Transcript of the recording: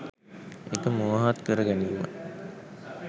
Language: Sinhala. ඒක මුවහත් කර ගැනීම.